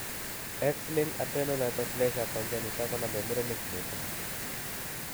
X linked adrenal hypoplasia congenita konome murenik missing